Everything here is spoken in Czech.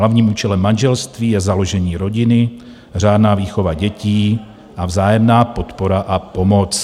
Hlavním účelem manželství je založení rodiny, řádná výchova dětí a vzájemná podpora a pomoc."